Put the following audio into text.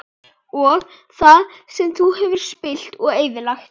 Og það sem þú hefur spillt og eyðilagt?